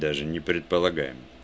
даже не предполагаем